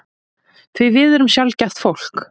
Því við erum sjaldgæft fólk.